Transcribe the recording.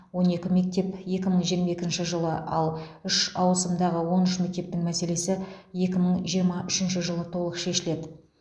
он екі мектеп екі мың жиырма екінші жылы ал үш ауысымдағы он үш мектептің мәселесі екі мың жиырма үшінші жылы толық шешіледі